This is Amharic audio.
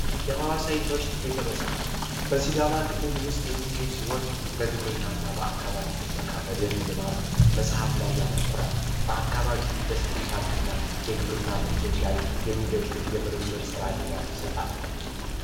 የሀዋሳ ዩኒቨርስቲ ቤተመጻሕፍት በሲዳማ ክልል ውስጥ የሚገኝ ሲሆን በግብርና እና በአካባቢ ጥበቃ ፣በደን ልማት መፅሐፍ ላይ ያተኩራል። በአካባቢ ኢንደስትሪ ፓርክ እና የግብርና ምርቶች ላይ የሚደግፍ የምርምር ስራ ድጋፍ ይሰጣል።